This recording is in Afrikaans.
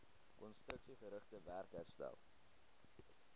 konstruksiegerigte werk herstel